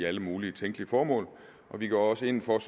alle mulige tænkelige formål vi går også ind for at